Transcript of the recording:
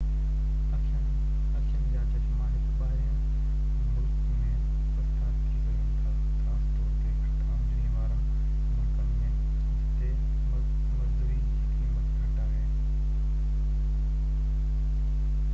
اکين جا چشما هڪ ٻاهرين ملڪ ۾ سستا ٿي سگهن ٿا خاص طور تي گهٽ آمدني وارن ملڪن ۾ جتي مزدوي جي قيمت گهٽ آهي